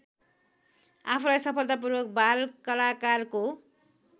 आफूलाई सफलतापूर्वक बालकलाकारको